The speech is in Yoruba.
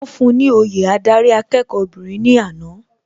Wọ́n fún un ni òye adarí akẹ́kọ̀ọ́ obìnrin ní àná.